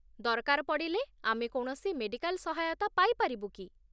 ଦରକାର ପଡ଼ିଲେ ଆମେ କୌଣସି ମେଡ଼ିକାଲ୍ ସହାୟତା ପାଇପାରିବୁ କି?